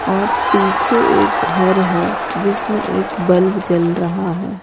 और पीछे एक घर है जिसमें एक बल्ब जल रहा है।